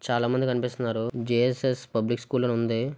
చాలామంది కనిపిస్తున్నారు. J S S public school అని ఉంది.